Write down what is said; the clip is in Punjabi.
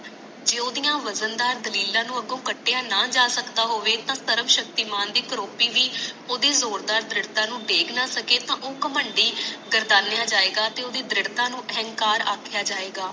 ਜੇ ਉਦੀਆਂ ਵਜ਼ਨਦਾਰ ਦਲੀਲਾਂ ਨੂੰ ਅਗੋ ਕਟਿਆਂ ਨਾ ਜਾ ਸਕਦਾ ਹੋਵੇ ਤਾ ਸਰਬ ਸ਼ਕਤੀ ਦੀ ਕਰੋਪਟੀ ਵੀ ਓਦੀ ਜ਼ੋਰ ਦਾਰ ਦਰਿੜਤਾ ਨੂੰ ਡੇਗ ਨਾ ਸਕੇ ਤਾ ਉਹ ਕਾਹਮਡੀ ਗਾਰਦਾਲੀਆਂ ਜਾਇਗਾ ਤੇ ਉਹ ਦੀ ਦਾਰੀਡਤਾ ਨੂੰ ਅਹੰਕਾਰ ਆਕਿਆਂ ਜਾਵੇਗਾ